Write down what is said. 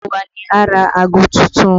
Gbogbo wa ni a rà ago tuntun